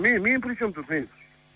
мен причем тут мен